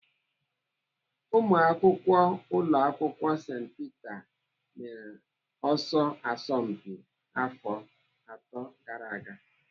Ụmụakwụkwọ ụlọ akwụkwọ St Peter mere ọsọ asompi afọ atọ gara aga.